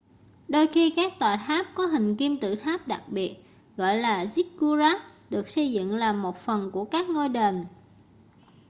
đôi khi các tòa tháp có hình kim tự tháp đặc biệt gọi là ziggurat được xây dựng làm một phần của các ngôi đền